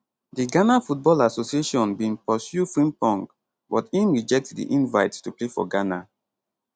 di ghana football association bin pursue frimpong but im reject di invite to play for ghana